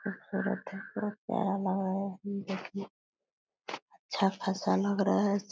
खूबसुरत है बड़ा प्यारा लग रहा है अच्छा ख़ासा लग रहा है।